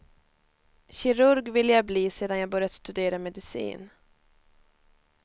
Kirurg ville jag bli sedan jag börjat studera medicin.